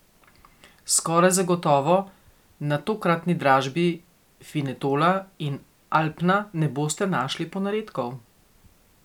Skoraj zagotovo na tokratni dražbi Finetola in Alpna ne boste našli ponaredkov.